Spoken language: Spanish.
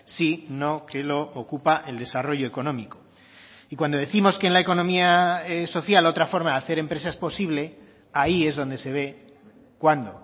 sino que lo ocupa el desarrollo económico y cuando décimos que en la economía social otra forma de hacer empresa es posible ahí es donde se ve cuándo